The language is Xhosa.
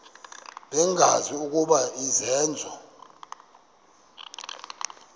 bengazi ukuba izenzo